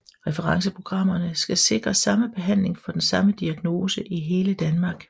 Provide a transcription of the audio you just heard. Referenceprogrammerne skal sikre samme behandling for den samme diagnose i hele Danmark